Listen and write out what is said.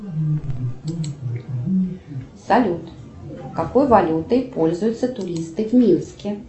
салют какой валютой пользуются туристы в минске